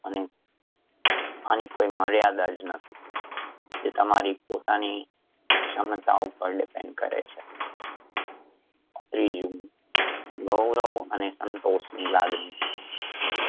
અને આની કોઈ મર્યાદા જ નથી એ તમારી પોતાની ક્ષમતા ઉપર depend કરે છે. ત્રીજું ગૌરવ અને સંતોષ ની લાગણી